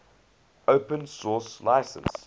open source license